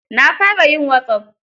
Na fara yin wasop.